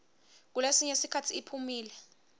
kulesinye sikhatsi iphumile